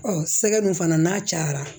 sɛgɛn fana n'a cayara